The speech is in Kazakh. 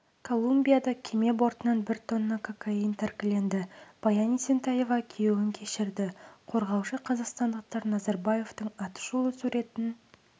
колумбияда кеме бортынан бір тонна кокаин тәркіленді баян есентаева күйеуін кешірді қорғаушы қазақстандықтар назарбаевтың атышулы суретін